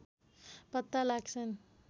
पत्ता लाग्छन्